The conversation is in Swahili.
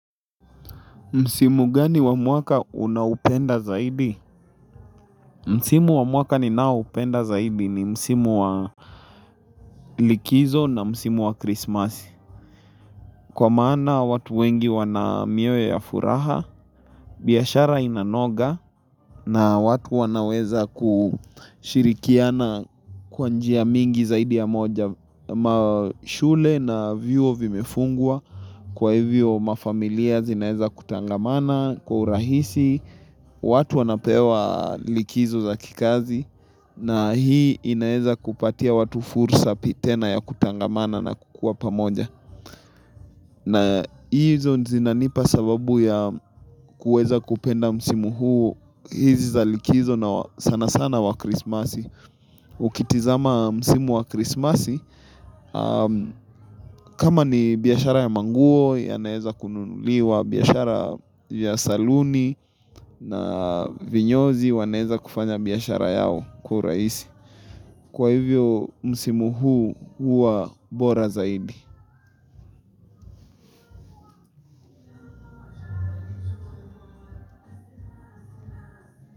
Msimu gani wa mwaka unaupenda zaidi? Msimu wa mwaka ninaoupenda zaidi ni msimu wa likizo na msimu wa krismasi. Kwa maana watu wengi wana mioyo ya furaha, biashara inanoga na watu wanaweza kushirikiana kwa njia mingi zaidi ya moja. Na mashule na vyuo vimefungwa kwa hivyo mafamilia zinaeza kutangamana kwa urahisi, watu wanapewa likizo za kikazi na hii inaeza kupatia watu fursa tena ya kutangamana na kukuwa pamoja. Na hizo zinanipa sababu ya kuweza kupenda msimu huu hizi za likizo na sana sana wa krismasi. Ukitizama msimu wa krismasi, kama ni biashara ya manguo, yanaeza kununuliwa, biashara ya saluni na vinyozi, wanaeza kufanya biashara yao kwa urahisi. Kwa hivyo msimu huu huwa bora zaidi.